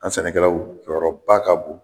An sɛnɛkɛlaw jɔyɔrɔba ka bon